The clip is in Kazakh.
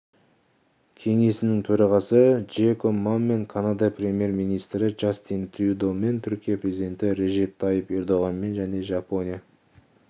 кеңесінің төрағасы джеком мамен канада премьер-министрі джастин трюдомен түркия президенті режеп тайып ердоғанмен және жапония